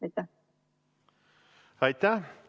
Aitäh!